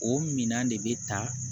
O minɛn de bɛ ta